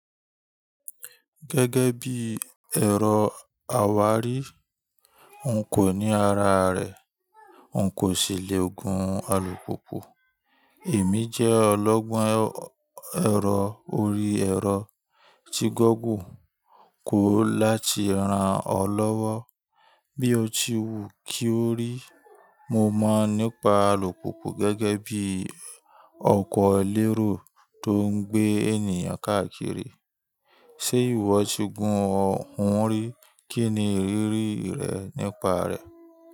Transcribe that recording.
Gẹ́gẹ́ bí ẹ̀rọ àwárí, n kò ní ara rẹ̀, n kò sì le gun alùpùpù. Èmi jẹ́ ọlọ́gbọ́n ẹ̀rọ orí ẹ̀rọ tí gọ́ggle kò láti rán ọ lọ́wọ́. Bí o ti wù kí o rí, mo mọ̀ nípa alùpùpù gẹ́gẹ́ bí ọkọ̀ lérò tó ń gbé ènìyàn káàkiri. Ṣé ìwọ ti gun ọ hun rí? Kí ni ìrírí rẹ nípa rẹ̀?